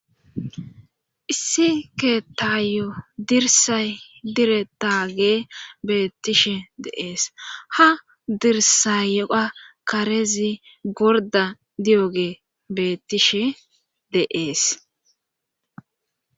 Issi keetayo dirsay dire taagee beettishe deees ha dirsayyoa karezi gorda di'oge bettishe deees.